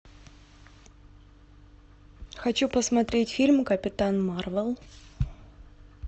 хочу посмотреть фильм капитан марвел